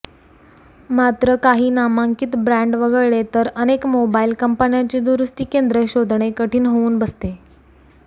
मात्र काही नामांकित ब्रँड वगळले तर अनेक मोबाइल कंपन्यांची दुरुस्ती केंद्र शोधणे कठीण होऊन बसते